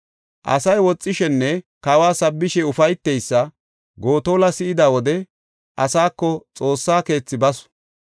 Asay yexishenne kawa sabbishe ufayteysa Gotola si7ida wode asaako Xoossa keethi basu.